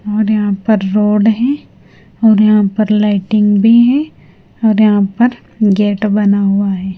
और यहां पर रोड हैं और यहां पर लाइटिंग भी हैं और यहां पर गेट बना हुआ है।